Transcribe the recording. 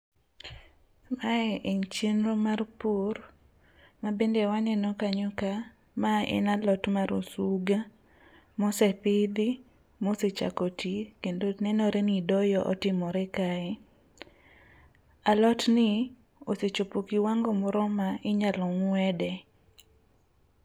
Mae en chenro mar pur mabende waneno kanyo ka mae en alot mar osuga mosepidhi mosechako ti kendo nenore ni doyo otimore kae. Alotni osechopo kiwango moro ma inyalo ng'wede.